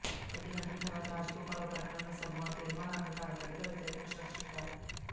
కొద్ది గంటల తర్వాత రాజగోపాల్ ఓ ప్రకటనలో సభలో తీర్మానాన్ని తాను గట్టిగా వ్యతిరేకించినట్లు చెప్పారు